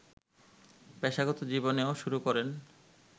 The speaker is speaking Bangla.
পেশাগত জীবনও শুরু করেন